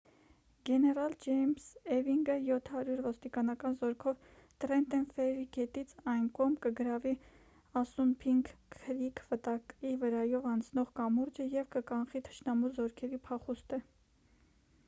գեներալ ջեյմս էվինգը 700 ոստիկանական զորքով տրենտեն ֆերրի գետից այն կողմ կգրավի ասսունփինք քրիք վտակի վրայով անցնող կամուրջը և կկանխի թշնամու զորքերի փախուստը